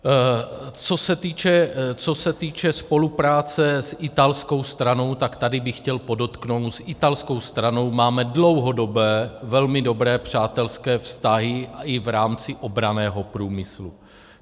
Co se týče spolupráce s italskou stranou, tak tady bych chtěl podotknout, s italskou stranou máme dlouhodobé, velmi dobré přátelské vztahy i v rámci obranného průmyslu.